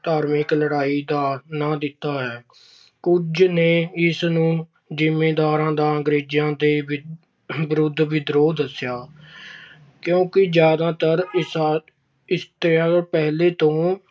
ਧਾਰਮਿਕ ਲੜਾਈ ਦਾ ਕਾਰਨ ਦਿੱਤਾ ਹੈ। ਕੁਝ ਨੇ ਇਸਨੂੰ ਜ਼ਿਮੀਂਦਾਰਾਂ ਦਾ ਅੰਗਰੇਜ਼ਾਂ ਦੇ ਵਿਰੁੱਧ ਵਿਦਰੋਹ ਦੱਸਿਆ। ਕਿਉਂਕਿ ਜ਼ਿਆਦਾਤਰ ਅਹ ਇਤਿਹਾਸਕਾਰ ਪਹਿਲਾਂ ਤੋਂ